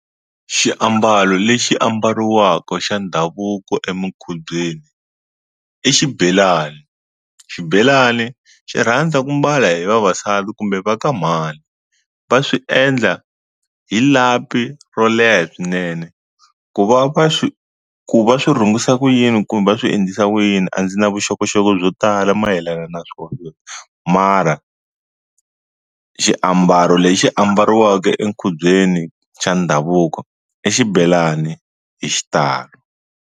Xiambalo lexi ambariwaka xa ndhavuko emukhubyeni i xibelani, xibelani xi rhandza ku mbala hi vavasati kumbe va ka mhani va swi endla hi lapi ro leha swinene ku va va swi ku va swi rhungisa ku yini kumbe va swi endlisa ku yini a ndzi na vuxokoxoko byo tala mayelana na swona mara xiambalo lexi ambariwaka enkhubyeni xa ndhavuko i xibelani hi xitalo.